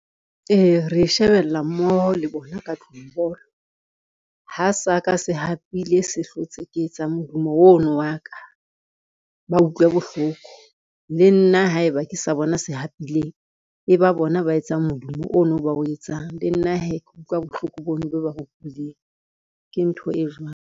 Ee, re shebella mmoho le bona ka tlung bolo. Ha sa ka se hapile se hlotse ke etsa modumo ono wa ka ba utlwe bohloko, le nna haeba ke sa bona se hapileng e ba bona ba etsang modumo ono ba o etsang le nna hee ke utlwa bohloko bo no bo ba utlwileng ke ntho e jwalo.